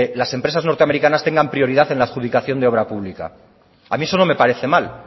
las empresas norteamericanas tengan prioridad en la adjudicación de obra pública a mí eso no me parece mal